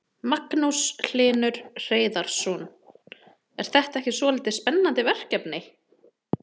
Magnús Hlynur Hreiðarsson: Er þetta ekki svolítið spennandi verkefni?